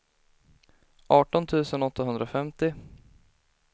arton tusen åttahundrafemtio